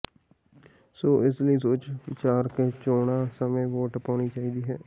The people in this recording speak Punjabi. ਸੋ ਇਸ ਲਈ ਸੋਚ ਵਿਚਾਰ ਕੇ ਚੋਣਾਂ ਸਮੇਂ ਵੋਟ ਪਾਉਣੀ ਚਾਹੀਦੀ ਹੈ